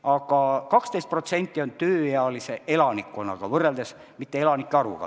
Aga see 12% on võetud võrreldes tööealise elanikkonnaga, mitte elanike arvuga.